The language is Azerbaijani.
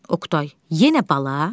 Oqtay, yenə bala?